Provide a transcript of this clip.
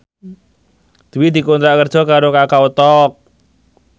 Dwi dikontrak kerja karo Kakao Talk